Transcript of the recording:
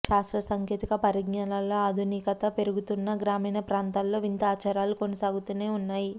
శాస్త్ర సాంకేతిక పరిజ్ఞానాల్లో ఆధునికత పెరుగుతున్నా గ్రామీణ ప్రాంతాల్లో వింత ఆచారాలు కొనసాగుతూనే ఉన్నాయి